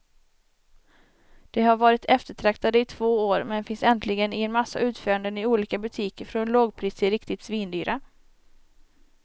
De har varit eftertraktade i två år, men finns äntligen i en massa utföranden i olika butiker från lågpris till riktigt svindyra.